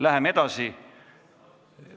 Läheme edasi.